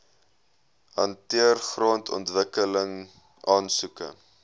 hanteer grondontwikkeling aansoeke